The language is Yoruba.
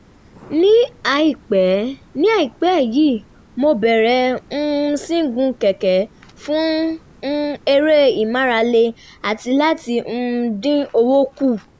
ní àìpẹ́ ní àìpẹ́ yìí mo bẹ̀rẹ̀ um sí í gun kẹ̀kẹ́ fún eré ìmárale àti láti um dín owó kù